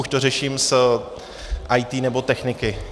Už to řeším s IT nebo techniky.